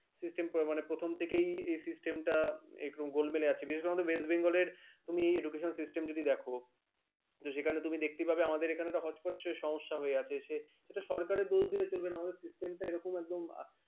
system প্রবল মানে প্রথম থেকে এই system গলবালায় একটি বিশেষ করে west bengal তুমি education system যদি দেখো সেখানে তুমি দেখতেই পাবে আমাদের এখানে একটা হছপছ সমস্যা হয়ে আছে। সেটা সরকারের দোষ চলবেনা আমাদের system এরকম